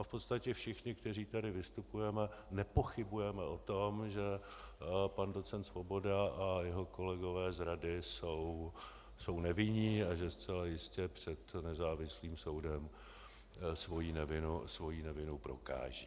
A v podstatě všichni, kteří tady vystupujeme, nepochybujeme o tom, že pan doc. Svoboda a jeho kolegové z rady jsou nevinní a že zcela jistě před nezávislým soudem svoji nevinu prokážou.